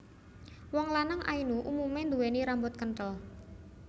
Wong lanang Ainu umume nduwèni rambut kentel